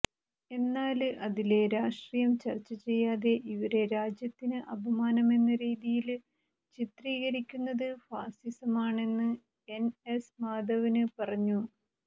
എന്നാല് അതിലെ രാഷ്ട്രീയം ചര്ച്ചചെയ്യാതെ ഇവരെ രാജ്യത്തിന് അപമാനമെന്ന രീതിയില് ചിത്രീകരിക്കുന്നത് ഫാസിസമാണെന്ന് എന്എസ് മാധവന് പറഞ്ഞു